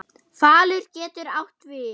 Falur getur átt við